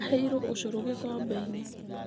Aheirwo ũcũrũ gĩkombe-inĩ.